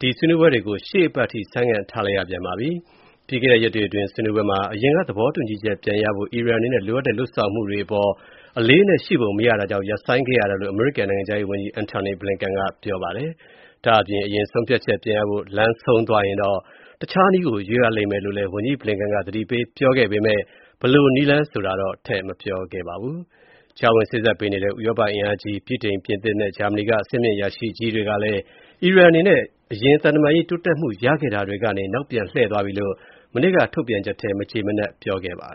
ဒီဆွေးနွေးပွဲတွေကို ရှေ့အပတ်အထိ ဆိုင်းငံ့ထားလိုက်ရပြန်ပါပြီ။ ပြီးခဲ့တဲ့ရက်တွေအတွင်း ဆွေးနွေးပွဲမှာ အရင်က သဘောတူညီချက်ပြန်ရဖို့ အီရန်အနေနဲ့ လိုအပ်တဲ့ လုပ်ဆောင်မှုတွေ အလေးအနက်ရှိပုံ မရတာကြောင့် ရပ်ဆိုင်းခဲ့ရတာလို့ အမေရိကန် နိုင်ငံခြားရေးဝန်ကြီး Antony Blinken က ပြောပါတယ်။ ဒါ့အပြင် အရင်ဆုံးဖြတ်ချက် ပြန်ရဖို့ လမ်းဆုံးသွားရင်တော့ တခြားနည်းကို ရွေးရလိမ့်မယ်လို့ ဝန်ကြီး Blinken က ပြောပါတယ်။ ဘယ်လိုနည်းလမ်း ဆိုတာကိုတော့ ထည့်မပြောခဲ့ပါဘူး။ ကြားဝင်စေ့စပ်ပေးနေတဲ့ ဥရောပအင်အားကြီး ဗြိတိန်၊ ပြင်သစ်နဲ့ ဂျာမနီက အဆင့်မြင့် အရာရှိကြီးတွေကလည်း အီရန်အနေနဲ့ အရင် သံတမန်ရေး တိုးတက်မှု ရခဲ့တာတွေကနေ နောက်ပြန်လှည့်သွားပြီလို့ မနေ့က ထုတ်ပြန်ချက်ထဲ မကျေမနပ် ပြောခဲ့ပါတယ်